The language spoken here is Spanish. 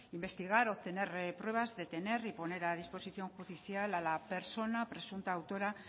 investigar obtener pruebas detener y poner a disposición judicial a la persona presunta autora